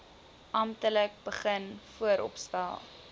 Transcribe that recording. amptelik begin vooropstel